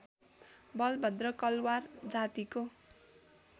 बलभद्र कलवार जातिको